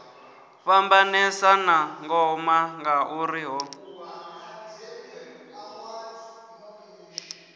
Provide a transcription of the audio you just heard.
fhambanesa na ngoma ngauri hu